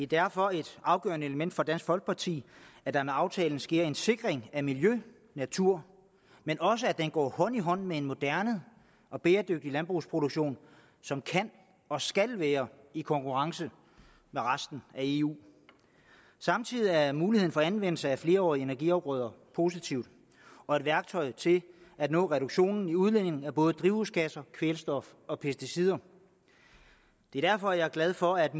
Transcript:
derfor et afgørende element for dansk folkeparti at der med aftalen sker en sikring af miljø og natur men også at den går hånd i hånd med en moderne og bæredygtig landbrugsproduktion som kan og skal være i konkurrence med resten af eu samtidig er muligheden for anvendelse af flerårige energiafgrøder positiv og et værktøj til at nå reduktionen i udledningen af både drivhusgasser kvælstof og pesticider det er derfor jeg er glad for at